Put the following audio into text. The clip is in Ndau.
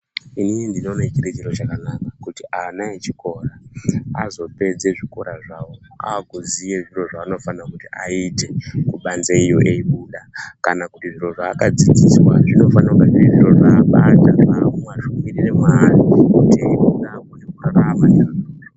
Inini ndinoona chiri chiro chakanaka kuti ana echikora azopedza zvikora zvawo akuziya zviro zvinofana kuti aite kubanze iyo eibuda kana kuti zviro zvakadzidziswa zvinofana kunge zviri zviro zvabata zvapinde Mari kuti akurapa azorapa chaizvo.